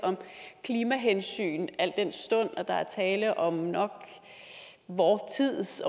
klimahensyn al den stund at der er tale om vor tids